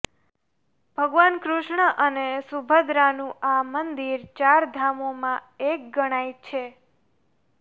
ભગવાન કૃષ્ણ અને સુભદ્રાનું આ મંદિર ચાર ધામોમાં એક ગણાય છે